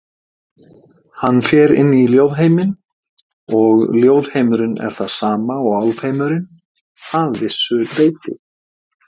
Hann fer inn í ljóðheiminn og ljóðheimurinn er það sama og álfheimurinn, að vissu leyti.